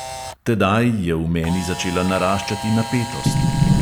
Tedaj je v meni začela naraščati napetost.